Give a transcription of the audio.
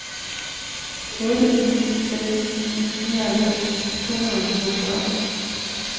otte ni seks ni nioghalvfems to hundrede og syvogfyrre